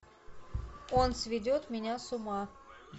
он сведет меня с ума